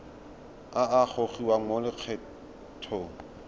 a a gogiwang mo lokgethong